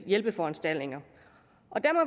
hjælpeforanstaltninger